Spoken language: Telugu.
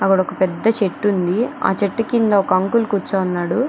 అక్కడ ఒక పెద్ద చెట్టు ఉంది. ఆ చెట్టు కింద ఒక అంకుల్ కూర్చోని ఉన్నాడు.